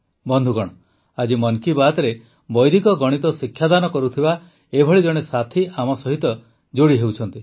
ବନ୍ଧୁଗଣ ଆଜି ମନ୍ କି ବାତ୍ରେ ବୈଦିକ ଗଣିତ ଶିକ୍ଷାଦାନ କରୁଥିବା ଏଭଳି ଜଣେ ସାଥୀ ଆମ ସହିତ ଯୋଡ଼ିହେଉଛନ୍ତି